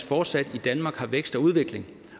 fortsat i danmark har vækst og udvikling